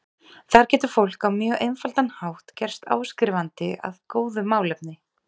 Þar getur fólk á mjög einfaldan hátt gerst áskrifandi að góðu málefni.